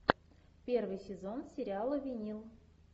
первый сезон сериала винил